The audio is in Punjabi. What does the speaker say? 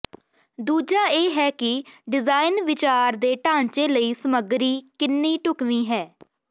ਦੂਜਾ ਇਹ ਹੈ ਕਿ ਡਿਜ਼ਾਈਨ ਵਿਚਾਰ ਦੇ ਢਾਂਚੇ ਲਈ ਸਮੱਗਰੀ ਕਿੰਨੀ ਢੁਕਵੀਂ ਹੈ